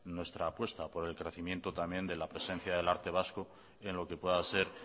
nuestra apuesta por el crecimiento también de la presencia del arte vasco en lo que pueda ser